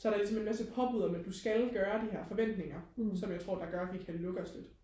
så det er ligesom også et påbud om at du skal gøre her forventninger som jeg tror der også gør vi kan lukke os lidt